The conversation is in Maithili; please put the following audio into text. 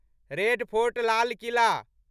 रेड फोर्ट लाल किला